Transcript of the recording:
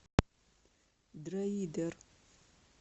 дроидер